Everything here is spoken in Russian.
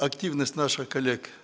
активность наших коллег